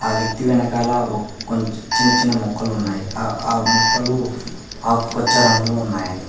ఆ వ్యక్తి వెనకాల కొంచెం చిన్న చిన్న మొక్కలు ఉన్నాయి ఆ ఆ ఆ మొక్కలు ఆకుపచ్చ రంగులో ఉన్నాయి.